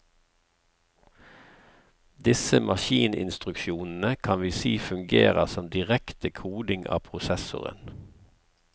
Disse maskininstruksjonene kan vi si fungerer som direkte koding av prosessoren.